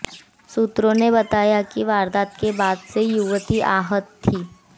सूत्रों ने बताया कि वारदात के बाद से युवती आहत थी